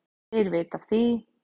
Þeir vita af því,